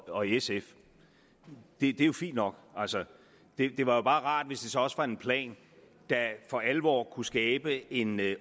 og sf det er jo fint nok altså det var bare rart hvis det så også var en plan der for alvor kunne skabe en